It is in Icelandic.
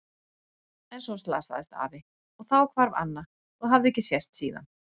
En svo slasaðist afi og þá hvarf Anna og hafði ekki sést síðan.